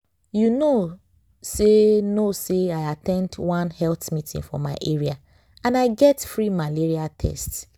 you know say know say i at ten d one health meeting for my area and i get free malaria test.